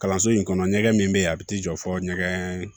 Kalanso in kɔnɔ ɲɛgɛn min bɛ yen a bɛ t'i jɔ fo ɲɛgɛn